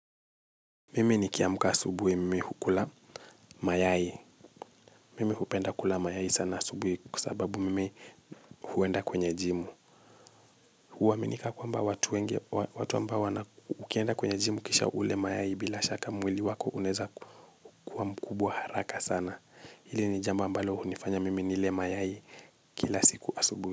Mimi ni kiamka asubuhi mimi hukula mayai. Mimi hupenda kula mayai sana asubuhi kwa sababu mimi huenda kwenye jimu. Huwaminika kwa mba watu wengi watu ambao wana ukienda kwenye jimu kisha ule mayai bila shaka mwili wako unaweza kuwa mkubwa haraka sana. Hili ni jamba ambalo hunifanya mimi nile mayai kila siku asubuhi.